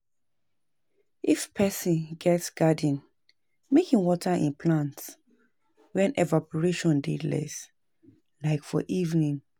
Person fit um use water wey im don use before for anoda thing